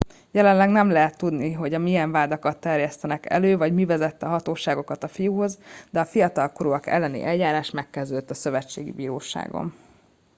jelenleg nem lehet tudni hogy milyen vádakat terjesztenek elő vagy mi vezette a hatóságokat a fiúhoz de a fiatalkorúak elleni eljárás megkezdődött a szövetségi bíróságon